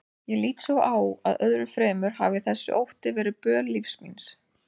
Ég lít svo á að öðru fremur hafi þessi ótti verið böl lífs míns.